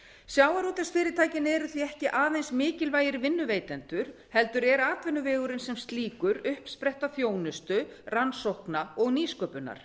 sjávarútvegsfyrirtæki eru því ekki aðeins mikilvægir vinnuveitendur heldur er atvinnuvegurinn sem slíkur uppspretta þjónustu rannsókna og nýsköpunar